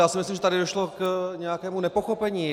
Já si myslím, že tady došlo k nějakému nepochopení.